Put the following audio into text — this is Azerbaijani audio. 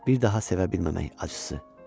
Bir daha sevə bilməmək acısı.